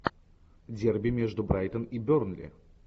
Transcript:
дерби между брайтон и бернли